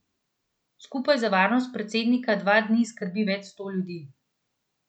Skupaj za varnost predsednika dva dni skrbi več sto ljudi.